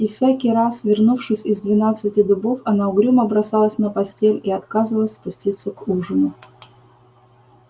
и всякий раз вернувшись из двенадцати дубов она угрюмо бросалась на постель и отказывалась спуститься к ужину